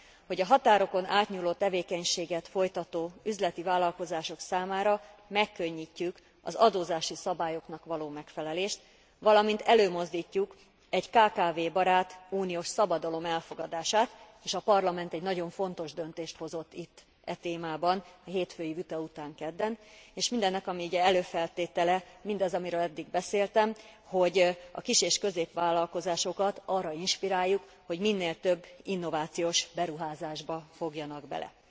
hogy a határokon átnyúló tevékenységet folytató üzleti tevékenységet folytató üzleti vállalkozások számára megkönnyítjük az adózási szabályoknak való megfelelést, valamint előmozdítjuk egy kkv barát uniós szabadalom elfogadását és a Parlament egy nagyon fontos döntést hozott itt e témában a hétfői vita után, kedden és mindennek, ami ugye előfeltétele, mindaz, amiről eddig beszéltem, hogy a kis és középvállalkozásokat arra inspiráljuk, hogy minél több innovációs beruházásba fogjanak bele.